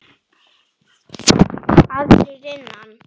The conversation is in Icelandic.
Aðrir innan